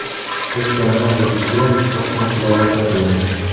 O‘tganlar ruhiga Qur’on tilovati qilinadi.